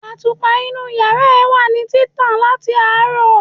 Àtùpà inú yàrá ẹ wà ní títàn láti àárọ̀.